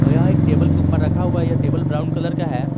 यहां एक टेबल के ऊपर रखा हुआ यह टेबल ब्राउन कलर का है।